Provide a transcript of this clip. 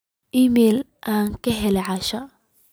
iimayl aan ka helay asha